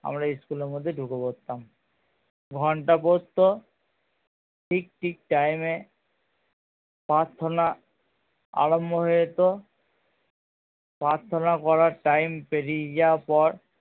আমরা school এর মধ্যে ঢুকে পড়তাম ঘন্টা পড়তো ঠিক ঠিক time এ প্রার্থনা আরম্ভ হয়ে যেত প্রার্থনা করার time পেরিয়ে যাবার পর